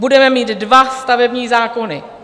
Budeme mít dva stavební zákony.